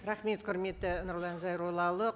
рахмет құрметті нұрлан зайроллаұлы